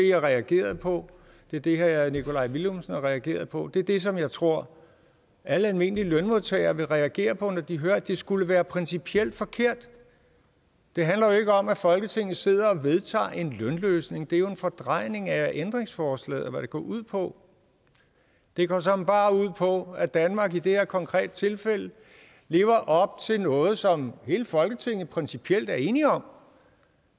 jeg reagerede på det er det herre nikolaj villumsen har reageret på det er det som jeg tror alle almindelige lønmodtagere vil reagere på når de hører at det skulle være principielt forkert det handler jo ikke om folketinget sidder og vedtager en lønløsning det er jo en fordrejning af hvad ændringsforslaget går ud på det går såmænd bare ud på at danmark i det her konkrete tilfælde lever op til noget som hele folketinget principielt er enige om